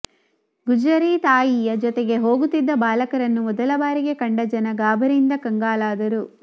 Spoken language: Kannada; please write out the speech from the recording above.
ಗುಜರೀತಾಯಿಯ ಜೊತೆಗೆ ಹೋಗುತ್ತಿದ್ದ ಬಾಲಕರನ್ನು ಮೊದಲಬಾರಿಗೆ ಕಂಡ ಜನ ಗಾಬರಿಯಿಂದ ಕಂಗಾಲಾದರು